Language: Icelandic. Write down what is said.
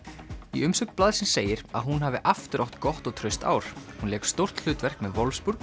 í umsögn blaðsins segir að hún hafi aftur átt gott og traust ár hún lék stórt hlutverk með